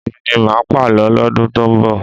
Èmi ni máà pàlọ́ lọ́dún tó ń bọ̀.